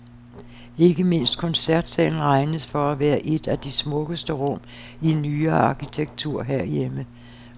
Ikke mindst koncertsalen regnes for at være et af de smukkeste rum i nyere arkitektur herhjemme.